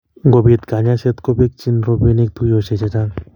ngobiit kanyoishet kobekchini robinik tuiyoshek chechang